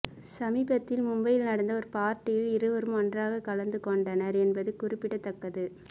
சமீபத்தில் மும்பையில் நடந்த ஒரு பார்ட்டியில் இருவரும் ஒன்றாக கலந்து கொண்டனர் என்பது குறிப்பிடத்த்தக்கது